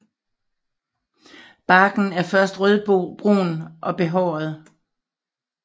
Barken er først rødbrun og behåret